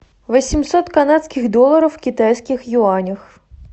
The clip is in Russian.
восемьсот канадских долларов в китайских юанях